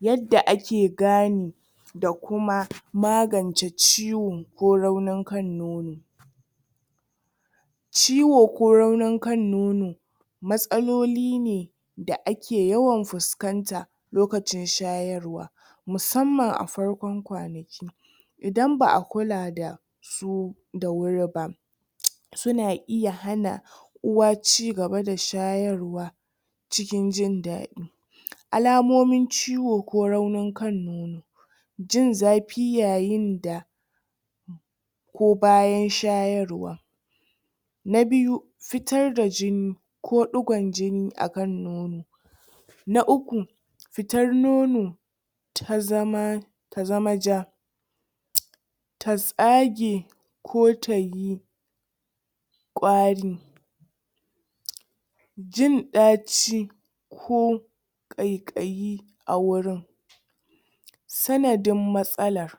Yadda ake gane da kuma magance ciwo ko raunin kan nono. Ciwo ko raunin kan nono matsaloli ne da ake yawan fuskanta lokacin shayarwa musamman a farkon kwanaki idan ba'au kula da su da wuri ba, su na iya hana uwa ci gaba da shayarwa cikin jin daɗi. Alamomin ciwo ko raunin kan nono. Jin zafi yayin da ko bayan shayarwa. Na biyu. Fitar da jini ko ɗigon jini a kan nono. Na uku. Fitar nono ta zama ta zama ja, ta tsage ko ta yi ƙwari. Jin ɗaci ko ƙaiƙayi a wurin. Sanadin matsalar.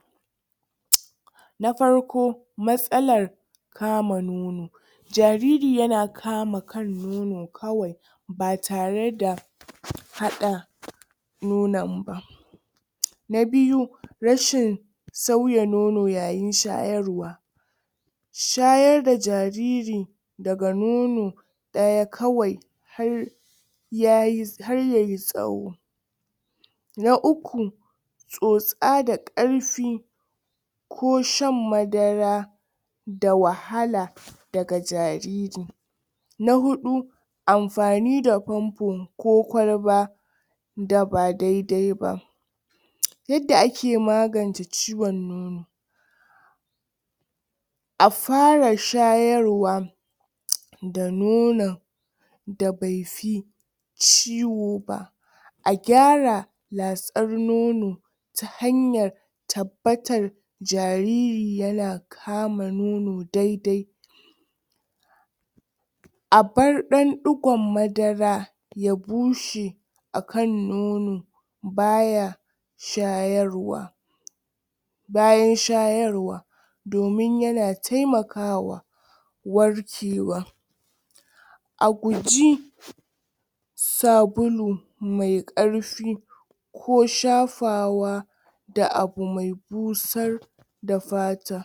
Na farko. Matsalar kama nono. Jariri ya na kama kan nono kawai ba tare da haɗa nonon ba. Na biyu. Rashin sauya nono yayin shayarwa. Shayar da jariri daga nono ɗaya kawai har har ya yi har yayi tsawo. Na uku. Tsotsa da ƙarfi ko shan madara da wahala daga jariri. Na huɗu. Amfani da famfo ko kwalba da ba dai-dai ba. Yadda a ke magance ciwon nono. A fara shayarwa da nonon da baifi ciwo ba. A gyara latsar nono ta hanyar tabbatar jariri ya na kama nono dai-dai. Abar ɗan ɗugon madara ya bushe a kan nono ba ya shayarwa bayan shayarwa domin ya na taimakawa warkewa. A guji sabulu mai ƙarfi, ko shafawa da abu mai busar da fata.